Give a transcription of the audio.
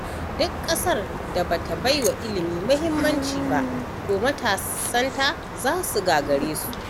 Duk ƙasar da bata baiwa ilimi muhimmanci ba to matasanta za su gagareta.